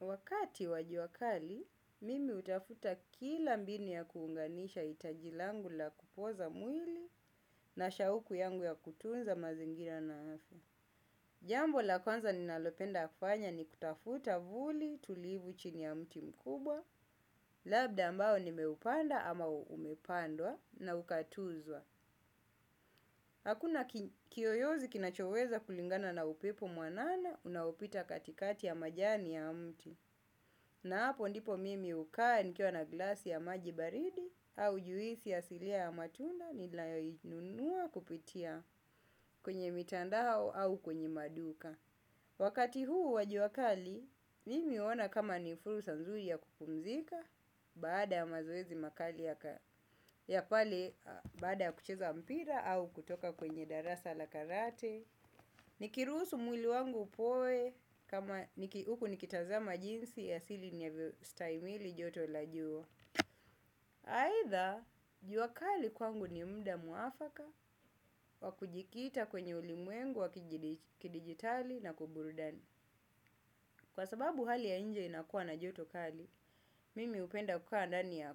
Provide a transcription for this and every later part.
Wakati wa jua kali, mimi hutafuta kila mbinu ya kuunganisha hitaji langu la kupoza mwili na shauku yangu ya kutunza mazingira nayo. Jambo la kwanza ninalopenda fanya ni kutafuta vuli tulivu chini ya mti mkubwa, labda ambao nimeupanda ama umepandwa na ukatuzwa. Hakuna kiyoyozi kinachoweza kulingana na upepo mwanana unaopita katikati ya majani ya mti. Na hapo ndipo mimi hukaa nikiwa na glasi ya maji baridi au juisi asilia ya matunda ninayo inunua kupitia kwenye mitandao au kwenye maduka. Wakati huu wa jua kali mimi huona kama ni fursa nzuri ya kupumzika baada ya mazoezi makali ya pale baada ya kucheza mpira au kutoka kwenye darasa la karate. Nikirusuhu mwili wangu upoe kama niki uku nikitazama jinsi asili ni avyo stahimili joto la jua aidha, jua kali kwangu ni mda muafaka wa kujikita kwenye ulimwengu wa kidigitali na kuburudani. Kwa sababu hali ya nje inakua na joto kali, mimi hupenda kukaa ndani ya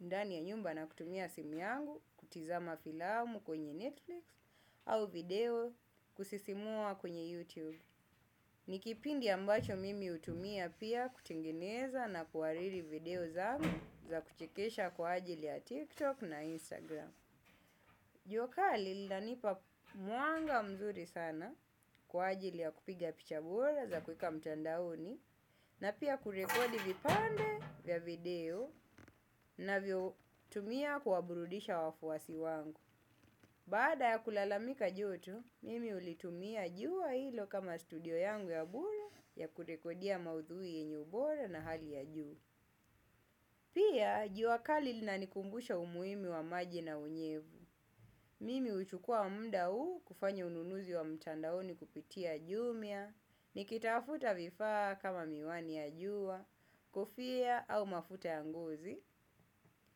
ndani ya nyumba na kutumia simu yangu kutazama filamu kwenye netflix au video kusisimua kwenye youtube ni kipindi ambacho mimi natumia pia kuhariri video zangu za kuchekesha kwaajili ya tiktok na instagram. Jua kali linanipa mwanga mzuri sana kwa ajili ya kupiga picha bora za kuweka mtandaoni na pia kurekodi vipande vya video navyo tumia kuwaburudisha wafuwasi wangu. Baada ya kulalamika joto, mimi hulitumia jua ilo kama studio yangu ya bure ya kurekodia maudhui yenye ubora na hali ya juu. Pia, jua kali lina nikumbusha umuhimu wa maji na unyevu. Mimi huchukua muda huu kufanya ununuzi wa mchandaoni kupitia jumia, nikitafuta vifaa kama miwani ya jua, kofia au mafuta ya ngozi.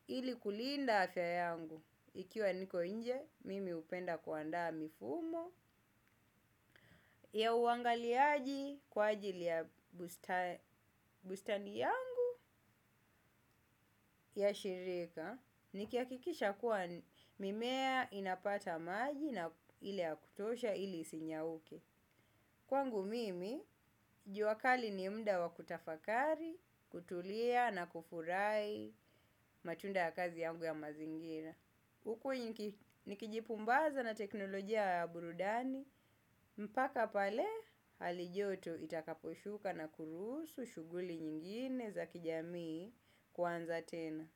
Ili kulinda afya yangu ikiwa niko nje mimi hupenda kuandaa mifumo ya uangaliaji kwaajili ya bustani yangu ya shirika. Nikihakikisha kuwa mimea inapata maji na ile ya kutosha ili isinyauke. Kwangu mimi, jua kali ni mda wa kutafakari, kutulia na kufurahi matunda ya kazi yangu ya mazingina huku nikijipumbaza na teknolojia ya burudani, mpaka pale hali joto itakaposhuka na kurusu shughuli nyingine za kijami kuanza tena.